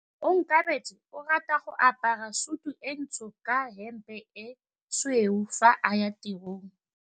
Onkabetse o rata go apara sutu e ntsho ka hempe e tshweu fa a ya tirong.